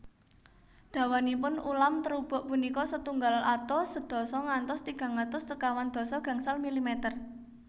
Dawanipun ulam terubuk punika setunggal atus sedasa ngantos tigang atus sekawan dasa gangsal milimeter